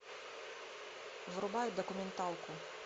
врубай документалку